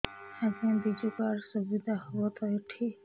ଆଜ୍ଞା ବିଜୁ କାର୍ଡ ସୁବିଧା ହବ ତ ଏଠି